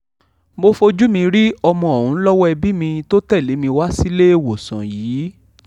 mo fojú mi rí ọmọ ọ̀hún lọ́wọ́ ẹbí mi tó tẹ̀lé mi wá síléèwọ̀sán yìí